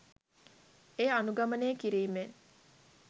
එය අනුගමනය කිරීමෙන්